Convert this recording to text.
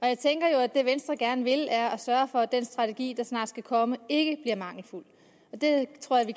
jeg tænker jo at det venstre gerne vil er at sørge for at den strategi der snart skal komme ikke bliver mangelfuld og jeg tror vi